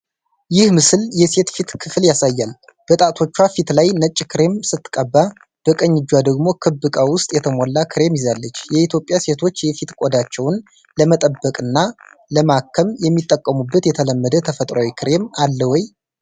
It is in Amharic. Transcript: ይህ ምስል የሴት ፊት ክፍል ያሳያል፤ በጣቶቿ ፊት ላይ ነጭ ክሬም ስትቀባ፣ በቀኝ እጇ ደግሞ ክብ ዕቃ ውስጥ የተሞላ ክሬም ይዛለች። የኢትዮጵያ ሴቶች የፊት ቆዳቸውን ለመጠበቅና ለማከም የሚጠቀሙበት የተለመደ ተፈጥሯዊ ክሬም አለ ወይ?